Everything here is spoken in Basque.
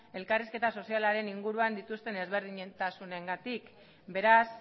elkarrizketa sozialaren inguruan dituzten ezberdintasunengatik beraz